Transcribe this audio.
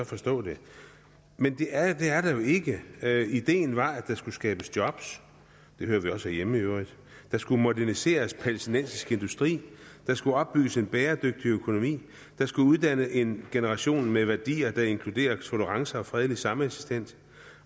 forstå det men det er der jo ikke ideen var at der skulle skabes job det hører vi også herhjemme i øvrigt at der skulle moderniseres i palæstinensisk industri at der skulle opbygges en bæredygtig økonomi at der skulle uddannes en generation med værdier der inkluderer tolerance og fredelig sameksistens